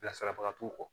Bilasirabaga t'u kɔ